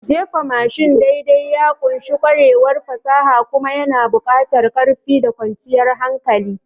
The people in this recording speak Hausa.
Jefa mashin daidai ya ƙunshi ƙwarewar fasaha kuma yana buƙatar ƙarfi da kwanciyar hankali.